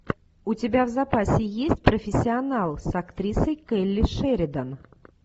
у тебя в запасе есть профессионал с актрисой келли шеридан